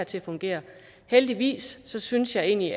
til at fungere heldigvis synes jeg egentlig